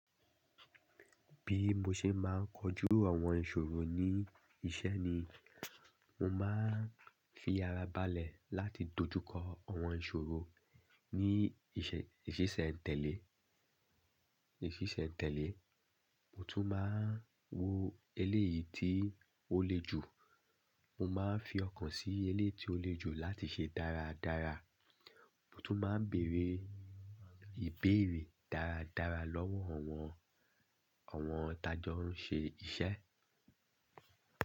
Bí mo ṣe máa ń kojú àwọn ìṣòro ní iṣẹ́ ni, mo máa ń fi ara balẹ̀ láti dojú kọ àwọn ìṣòro ní ìṣe ìṣẹ̀sẹ̀ n tẹ́lẹ̀, ìṣẹ̀sẹ̀ n tẹ́lẹ̀. Mo tún máa ń wo eléyìí tí ó le jù, mo máa ń fi ọkàn sí eléyìí tí ó le jù láti ṣe dáradára. Mo tún máa ń bèerè ìbéèrè dáradára lọ́wọ́ àwọn, àwọn tajọ ń ṣe iṣẹ́.